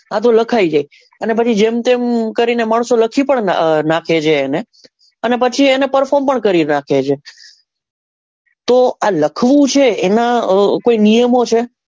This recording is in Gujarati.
આતો લખી જા અને પછી જેમ તેમ માણસો લખી પણ નાખે છે એને અને પછી એને perform પણ કરી નાખે છે તો આ લખવું છે એના કોઈ નિયમો છે?